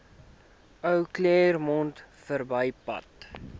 ou claremont verbypad